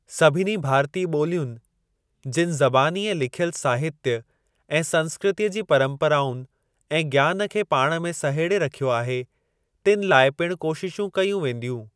सभिनी भारतीय ॿोलियुनि, जिनि ज़बानी ऐं लिखियल साहित्य ऐं संस्कृतीअ जी परम्पराउनि ऐं ज्ञान खे पाण में सहेड़े रखियो आहे, तिनि लाइ पिण कोशिशूं कयूं वेंदियूं।